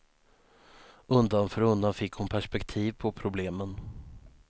Undan för undan fick hon perspektiv på problemen.